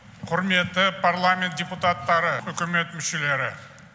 құрметті парламент депутаттары үкімет мүшелері